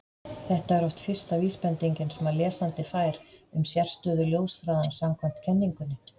Þetta er oft fyrsta vísbendingin sem lesandi fær um sérstöðu ljóshraðans samkvæmt kenningunni.